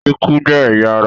Ikùn jẹ́ ẹ̀yà ará